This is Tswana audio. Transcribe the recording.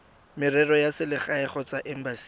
merero ya selegae kgotsa embasing